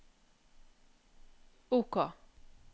OK